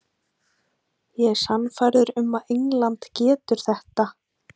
Ég er sannfærður um að England getur þetta.